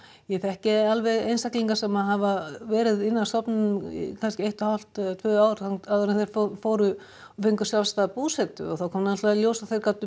ég þekki alveg einstaklinga sem hafa verið inni á stofnunum í kannski eitt og hálft tvö ár áður en þeir fóru og fengu sjálfstæða búsetu og þá kom náttúrulega í ljós að þau gátu